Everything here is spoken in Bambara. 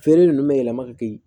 Feere nunnu bɛ yɛlɛma ka kɛ yen